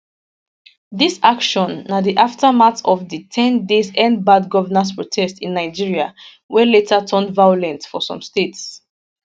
dis action na di aftermath of di ten days endbadgovernance protest in nigeria wey later turn violent for some states